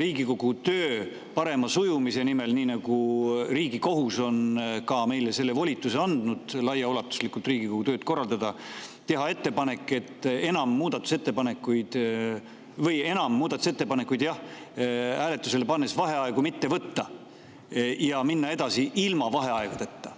Riigikogu töö parema sujumise nimel – ka Riigikohus on meile andnud volituse Riigikogu tööd laiaulatuslikult korraldada – muudatusettepanekuid hääletusele pannes vaheaegu enam mitte võtta ja minna edasi ilma vaheaegadeta?